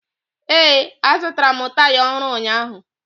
Ee, azụtara m taya ọhụrụ ụnyaahụ